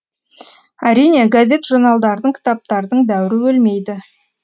әрине газет журналдардың кітаптардың дәуірі өлмейді